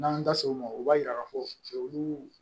N'an das'o ma o b'a yira k'a fɔ olu